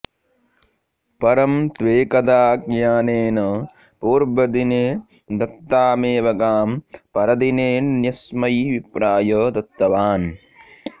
परं त्वेकदाऽज्ञानेन पूर्वदिने दत्तामेव गां परदिनेऽन्यस्मै विप्राय दत्तवान्